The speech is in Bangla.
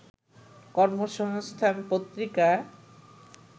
কর্মসংস্থান পত্রিকা